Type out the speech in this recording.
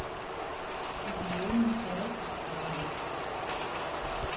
I kan låne mit værelse, sagde han.